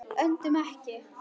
Öndum ekki.